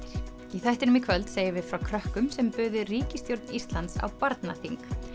í þættinum í kvöld segjum við frá krökkum sem buðu ríkisstjórn Íslands á barnaþing